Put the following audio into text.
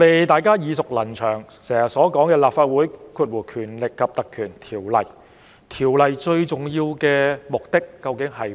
大家耳熟能詳的是《立法會條例》，《條例》最重要的目的是甚麼？